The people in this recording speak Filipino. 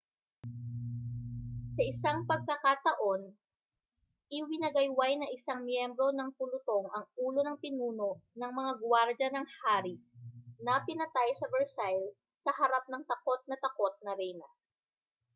sa isang pagkakataon iwinagayway ng isang miyembro ng pulutong ang ulo ng pinuno ng mga gwardiya ng hari na pinatay sa versailles sa harap ng takot na takot na reyna